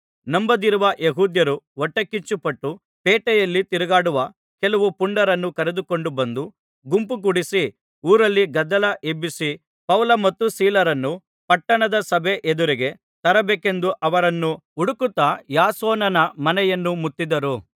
ನಂಬದಿರುವ ಯೆಹೂದ್ಯರು ಹೊಟ್ಟೆಕಿಚ್ಚುಪಟ್ಟು ಪೇಟೆಯಲ್ಲಿ ತಿರುಗಾಡುವ ಕೆಲವು ಪುಂಡರನ್ನು ಕರೆದುಕೊಂಡು ಬಂದು ಗುಂಪು ಕೂಡಿಸಿ ಊರಲ್ಲಿ ಗದ್ದಲ ಎಬ್ಬಿಸಿ ಪೌಲ ಮತ್ತು ಸೀಲರನ್ನು ಪಟ್ಟಣದ ಸಭೆ ಎದುರಿಗೆ ತರಬೇಕೆಂದು ಅವರನ್ನು ಹುಡುಕುತ್ತಾ ಯಾಸೋನನ ಮನೆಯನ್ನು ಮುತ್ತಿದರು